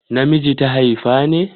Na miji ta haifa ne?